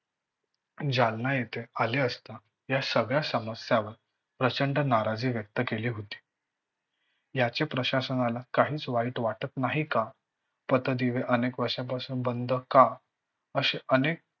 जालना येथे आले असता या सगळ्या समस्यावर प्रचंड नाराजी व्यक्त केली होती. याचे प्रशासनाला काहीच वाटत नाही का? पथदिवे अनेक वर्षापासुन बंद का? अशे अनेक